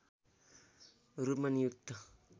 रूपमा नियुक्त